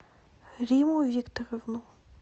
римму викторовну